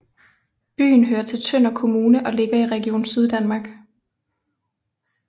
Byen hører til Tønder Kommune og ligger i Region Syddanmark